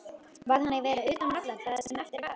Varð hann að vera utan vallar það sem eftir var?